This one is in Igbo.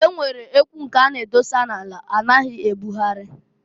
E nwere ekwu nke a na-edosa n'ala a naghị ebụgharị.